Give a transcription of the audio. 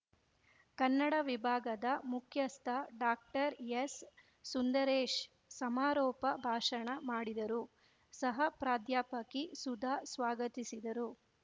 ಕನ್ನಡವಿಭಾಗದ ಮುಖ್ಯಸ್ಥ ಡಾಕ್ಟರ್ಎಸ್‌ಸುಂದರೇಶ್‌ ಸಮಾರೋಪ ಭಾಷಣ ಮಾಡಿದರು ಸಹ ಪ್ರಾಧ್ಯಾಪಕಿ ಸುಧಾ ಸ್ವಾಗತಿಸಿದರು